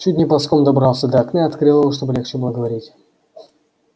чуть не ползком добрался до окна и открыл его чтобы легче было говорить